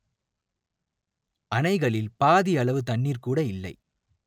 அணைகளில் பாதியளவு தண்ணீர் கூட இல்லை